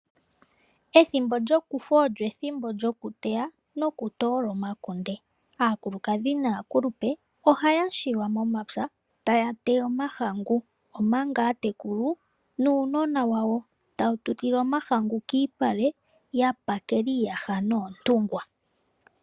Ethimbo lyokufu olyo ethimbo lyoku teya no ku toola omakunde. Aakulukadhi naakulupe oha ya shilwa momapya ta ya teya omahangu ,omanga aatekulu nuunonona wayo ta wu tutile omahangu kiipale ya pakela iiyaha noontungwa.